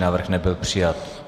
Návrh nebyl přijat.